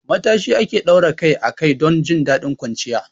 Matashi ake daura kai a kai don jin daɗin kwanciya.